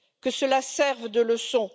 Que cela serve de leçon.